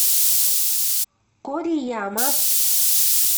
корияма